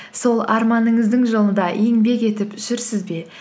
сол арманыңыздың жолында еңбек етіп жүрсіз бе